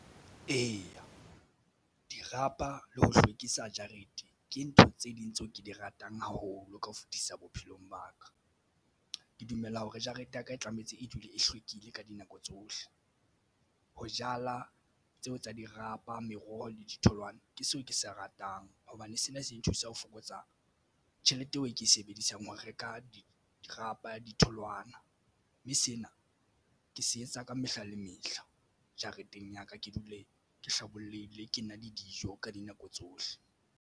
Eya, dirapa le ho hlwekisa jarete ke ntho tse ding tseo ke di ratang haholo ka ho fetisisa bophelong ba ka ke dumela hore jarete ya ka e tlametse e dule e hlwekile ka dinako tsohle. Ho jala tseo tsa di rapa meroho le ditholwana ke seo ke se ratang hobane sena se nthusa ho fokotsa tjhelete eo e ke e sebedisang ho reka di rapa ditholwana, mme sena ke se etsa ka mehla le mehla jareteng ya ka ke dule ke hlabollehile ke na le dijo ka dinako tsohle.